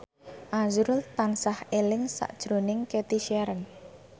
azrul tansah eling sakjroning Cathy Sharon